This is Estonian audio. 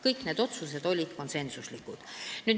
Kõik need otsused olid konsensuslikud.